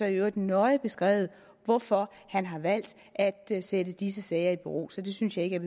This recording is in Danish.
i øvrigt nøje beskrevet hvorfor han har valgt at sætte disse sager i bero så det synes jeg ikke